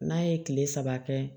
N'a ye tile saba kɛ